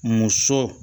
Muso